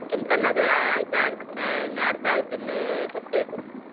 ಕೆಂಪ್ ಕಲ್ಲ್ ಅದೇ ಆಯ್ತ ಅರ್~ ಇನ್ನ ಅರ್ಧ ಆಯ್ತು ಇನ್ನು ಸ್ವಲ್ಪ ಇದೆ.